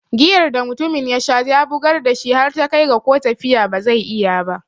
Giyar da mutumin yasha ya bugar dashi har ta kai ga ko tafiya ba zai iya ba.